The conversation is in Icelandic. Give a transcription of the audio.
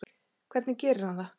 Hvernig gerir hann það?